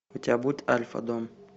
у тебя будет альфа дом